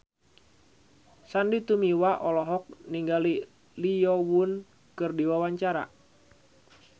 Sandy Tumiwa olohok ningali Lee Yo Won keur diwawancara